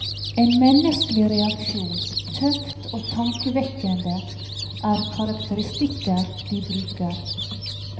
En menneskelig reaksjon, tøft og tankevekkende, er karakteristikker de bruker.